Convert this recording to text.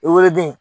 I woloden